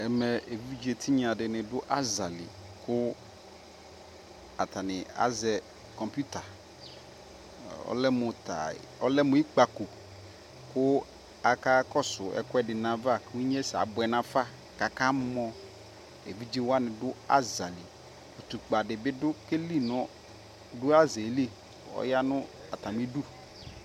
ɛmɛ ɛvidzɛ tinya dini dʋ azali kʋ atani azɛ kɔmpʋta, ɔlɛmʋ ikpakɔ kʋ akakɔsʋ ɛkʋɛdi nʋ aɣa kʋ inyɛsɛ abʋɛ nʋ aƒa kʋ aka mɔ, ɛvidzɛ wani dʋ azali, ʋtʋkpa dibi kɛli nʋ, dʋ azaɛli ɔyanʋ atami idʋ